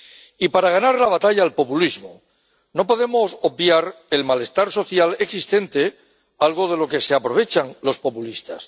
Y para ganar la batalla al populismo, no podemos obviar el malestar social existente, algo de lo que se aprovechan los populistas.